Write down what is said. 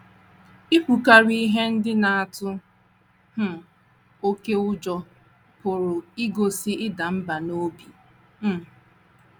Ikwukarị ihe ndị na - atụ um oké ụjọ pụrụ igosi ịda mbà n’obi. um